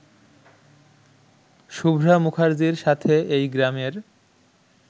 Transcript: শুভ্রা মুখার্জির সাথে এই গ্রামের